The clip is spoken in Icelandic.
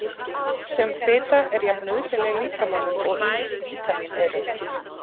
Sum fita er jafn nauðsynleg líkamanum og ýmis vítamín eru.